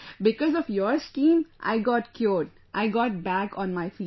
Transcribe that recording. Because of your scheme, I got cured, I got back on my feet